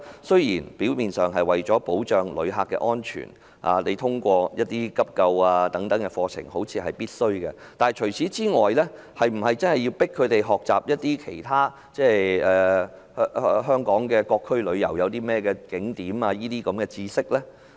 雖說為保障旅客安全須要求導遊學習急救等課程，但除此之外，是否有需要強迫這類導遊學習香港各區旅遊景點的知識？